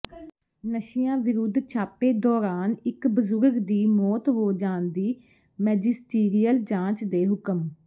ਨਸ਼ਿਆਂ ਵਿਰੁੱਧ ਛਾਪੇ ਦੌਰਾਨ ਇੱਕ ਬਜ਼ੁਰਗ ਦੀ ਮੌਤ ਹੋ ਜਾਣ ਦੀ ਮੈਜਿਸਟੀਰੀਅਲ ਜਾਂਚ ਦੇ ਹੁਕਮ